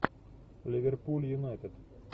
ливерпуль юнайтед